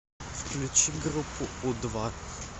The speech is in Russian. включи группу у два